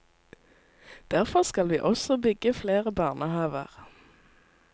Derfor skal vi også bygge flere barnehaver.